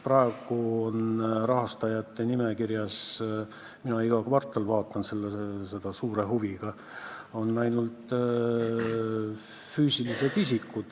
Praegu on rahastajate nimekirjas – ma iga kvartal vaatan seda suure huviga – ainult füüsilised isikud.